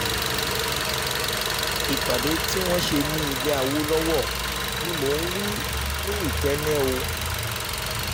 ìpàdé tí wọ́n ṣe nílẹ̀ awolowo ni mò ń wí nikenne o